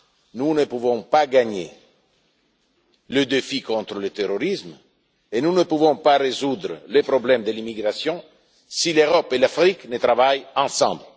Nous ne pouvons pas gagner le défi contre le terrorisme et nous ne pouvons pas résoudre le problème de l'immigration si l'Europe et l'Afrique ne travaillent pas ensemble.